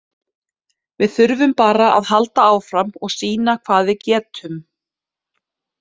Við þurfum bara að halda áfram og sýna hvað við getum.